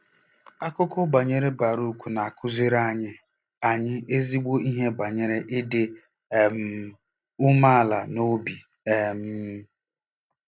Akụkọ banyere Barụk na-akụziri anyị anyị ezigbo ihe banyere ịdị um umeala n'obi um.